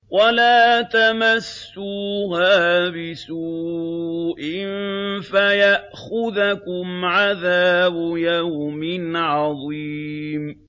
وَلَا تَمَسُّوهَا بِسُوءٍ فَيَأْخُذَكُمْ عَذَابُ يَوْمٍ عَظِيمٍ